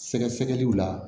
Sɛgɛsɛgɛliw la